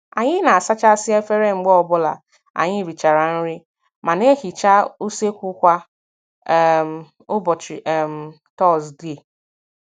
Anyị na - asachasị efere mgbe ọ bụla anyị richara nri ma na-ehicha useekwu kwa um ụbọchị um Tọzdee